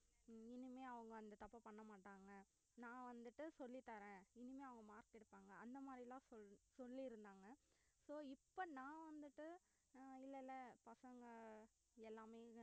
இனிமே அவங்க அந்த தப்பை பண்ண மாட்டாங்க நான் வந்துட்டு சொல்லித் தரேன் இனிமே அவங்க mark எடுப்பாங்க அந்த மாதிரிலாம் சொல்~ சொல்லி இருந்தாங்க so இப்ப நான் வந்துட்டு அஹ் இல்லல்ல பசங்க எல்லாமே